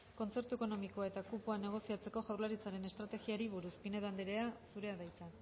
kontzertu ekonomikoa eta kupoa negoziatzeko jaurlaritzaren estrategiari buruz pinedo andrea zurea da hitza